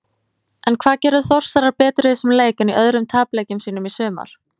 En hvað gerðu Þórsarar betur í þessum leik en í öðrum tapleikjum sínum í sumar?